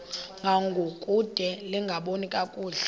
ngangokude lingaboni kakuhle